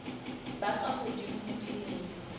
ba ka hodimo ho dilemo